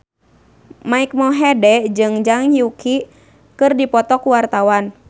Mike Mohede jeung Zhang Yuqi keur dipoto ku wartawan